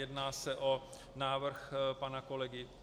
Jedná se o návrh pana kolegy